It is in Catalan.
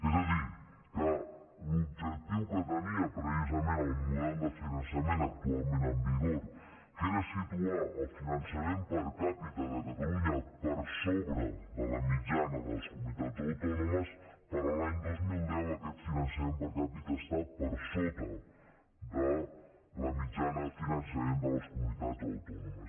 és a dir que l’objectiu que tenia precisament el model de finançament actualment en vigor que era situar el finançament per capitacatalunya per sobre de la mitjana de les comunitats autònomes per a l’any dos mil deu aquest finançament per capita està per sota de la mitjana de finançament de les comunitats autònomes